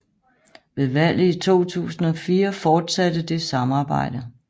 Ved valget i 2004 fortsatte det samarbejde